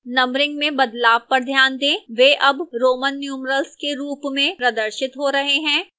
numbering में बदलाव पर ध्यान दें वे अब roman numerals के रूप में प्रदर्शित हो रहे हैं